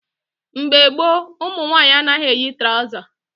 Mgbe gboo, ụmụ nwaanyị anaghị eyi trọza